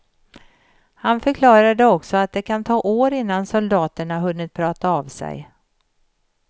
Han förklarade också att det kan ta år innan soldaterna hunnit prata av sig.